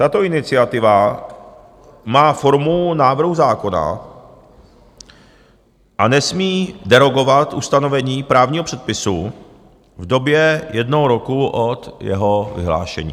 Tato iniciativa má formu návrhu zákona a nesmí derogovat ustanovení právního předpisu v době jednoho roku od jeho vyhlášení.